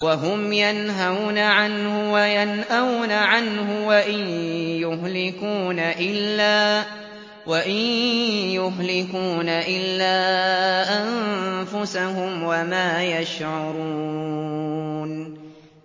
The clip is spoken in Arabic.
وَهُمْ يَنْهَوْنَ عَنْهُ وَيَنْأَوْنَ عَنْهُ ۖ وَإِن يُهْلِكُونَ إِلَّا أَنفُسَهُمْ وَمَا يَشْعُرُونَ